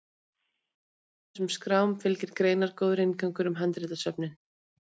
báðum þessum skrám fylgir greinargóður inngangur um handritasöfnin